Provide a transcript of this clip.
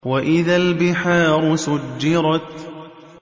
وَإِذَا الْبِحَارُ سُجِّرَتْ